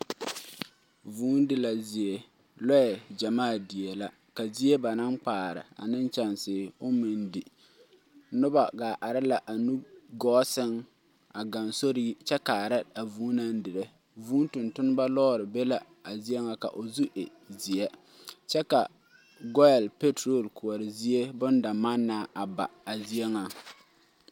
Vʋʋ di la zie lɔɛ gyammaa dieɛ la ka zie ba naŋ kpaare ane kyɛŋsiri oŋ meŋ di noba gaa are la a nugɔɔ seŋ a gaŋ sori yi kyɛ kaara a vʋʋ naŋ dire vʋʋ tontonma lɔɔre be la a zie ŋa ka o zu e zeɛ kyɛ ka goil petro kɔɔri zie bondamannaa a ba a zie ŋaŋ.